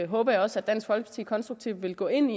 håber jeg også at dansk folkeparti konstruktivt vil gå ind